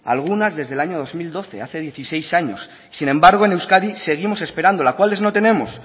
algunas desde el año dos mil dos hace dieciséis años sin embargo en euskadi seguimos esperándola cuáles no tenemos